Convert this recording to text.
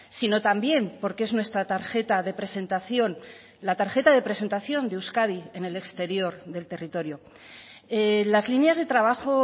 sino también porque es nuestra tarjeta de presentación la tarjeta de presentación de euskadi en el exterior del territorio las líneas de trabajo